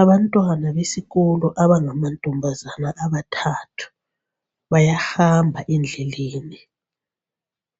Abantwana besikolo abangamantombazana abathathu, bayahamba endleleni.